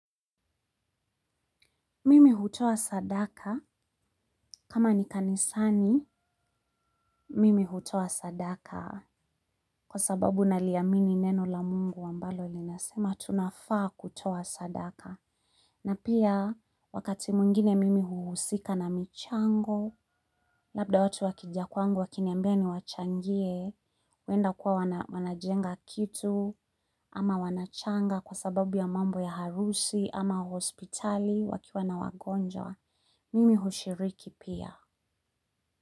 Mimi huto sadaka kama ni kanisani mimi hutoa sadaka kwa sababu naliamini neno la Mungu ambalo linasema tunafaa kutoa sadaka. Na pia, wakati mwingine mimi huhusika na michango, labda watu wakija kwangu wakiniambia niwachangie, wenda kuwa wanajenga kitu, ama wanachanga kwa sababu ya mambo ya harusi, ama hospitali, wakiwa na wagonja, mimi hushiriki pia.